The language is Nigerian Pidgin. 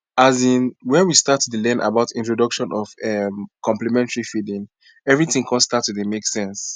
azinn when we start to dey learn about introduction of um complementary feeding everything con be start to dey make sense